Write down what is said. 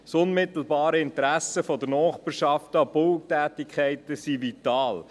Das unmittelbare Interesse der Nachbarschaft an Bautätigkeiten ist vital.